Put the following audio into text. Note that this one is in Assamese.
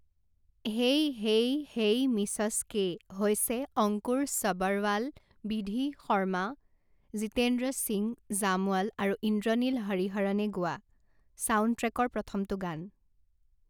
হেই হেই হেই মিছছ কে হৈছে অংকুৰ ছবৰৱাল, বিধি শৰ্মা, জীতেন্দ্ৰ সিং জামৱাল আৰু ইন্দ্ৰনীল হৰিহৰণে গোৱা চাউণ্ডট্ৰেকৰ প্ৰথমটো গান।